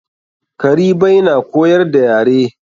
Karibai na koyar da yare.